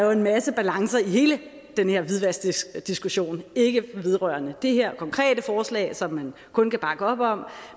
er en masse balancer i hele den her hvidvaskdiskussion ikke vedrørende det her konkrete forslag som man kun kan bakke op om